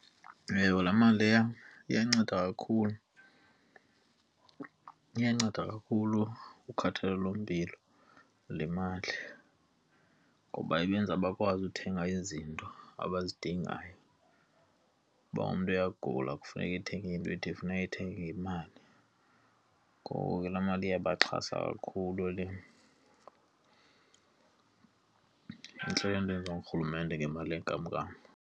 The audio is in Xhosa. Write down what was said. Ewe, laa mali leya iyanceda kakhulu. Iyanceda kakhulu kukhathalelo lempilo le mali ngoba ibenza bakwazi uthenga izinto abazidingayo. Ukuba umntu uyagula kufuneke ethenge into ethi, funeka eyithenge ngemali ngoko ke laa mali iyabaxhasa kakhulu le. Intle loo nto eyenziwa ngurhulumente ngemali yenkam nkam.